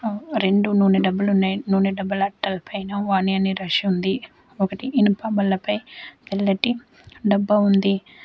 రెండు నూనె డబ్బాలు ఉన్నాయి నూనె డబ్బాల అట్టల పైన వాని అని రాసి ఉంది ఒకటి ఇనప బల్ల పై తెల్లటి డబ్బా ఉంది.